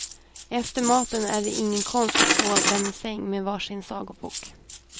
Efter maten är det ingen konst att få dem i säng med var sin sagobok.